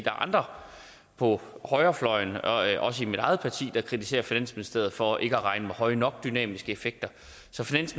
er andre på højrefløjen og også i mit eget parti der kritiserer finansministeriet for ikke at regne med høje nok dynamiske effekter